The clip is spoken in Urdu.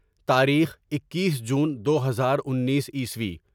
تاریخ ، اکیس جون دو ہزار انیس عیسوی